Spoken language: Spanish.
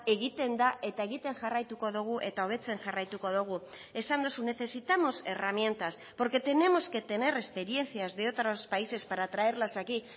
egiten da eta egiten jarraituko dugu eta hobetzen jarraituko dugu esan duzu necesitamos herramientas porque tenemos que tener experiencias de otros países para traerlas aquí